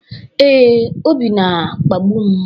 Ee, Obi na-akpagbu m.